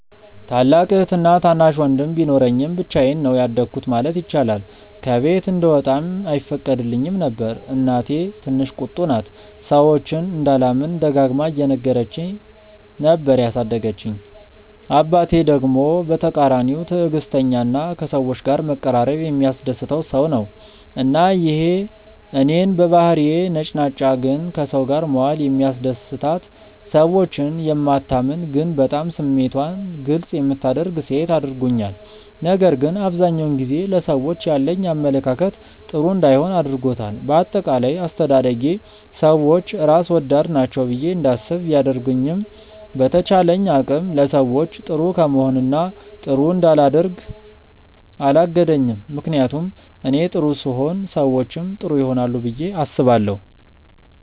ታላቅ እህትና ታናሽ ወንድም ቢኖረኝም ብቻዬን ነው ያደኩት ማለት ይቻላል። ከቤት እንድወጣም አይፈቀድልኝም ነበር። እናቴ ትንሽ ቁጡ ናት፤ ሰዎችን እንዳላምን ደጋግማ እየነገረች ነበር ያሳደገችኝ። አባቴ ደግሞ በተቃራኒው ትዕግስተኛ እና ከሰዎች ጋር መቀራረብ የሚያስደስተው ሰው ነው። እና ይሄ እኔን በባህሪዬ ነጭናጫ ግን ከሰው ጋር መዋል የሚያስደስታት፣ ሰዎችን የማታምን ግን በጣም ስሜቷን ግልፅ የምታደርግ ሴት አድርጎኛል። ነገር ግን አብዛኛውን ጊዜ ለሰዎች ያለኝ አመለካከት ጥሩ እንዳይሆን አድርጎታል። በአጠቃላይ አስተዳደጌ ሰዎች ራስ ወዳድ ናቸው ብዬ እንዳስብ ቢያደርገኝም በተቻለኝ አቅም ለሰዎች ጥሩ ከመሆን እና ጥሩ እንዳላደርግ አላገደኝም። ምክንያቱም እኔ ጥሩ ስሆን ሰዎችም ጥሩ ይሆናሉ ብዬ አስባለሁ።